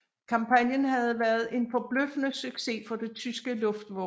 Kampagnen havde været en forbløffende succes for det tyske luftvåben